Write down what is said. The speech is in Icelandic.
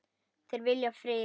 Þeir vilja frið.